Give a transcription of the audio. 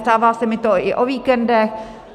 Stává se mi to i o víkendech.